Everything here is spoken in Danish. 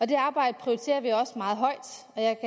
det arbejde prioriterer vi og jeg